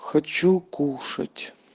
хочу кушать